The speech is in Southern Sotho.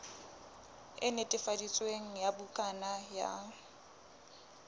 e netefaditsweng ya bukana ya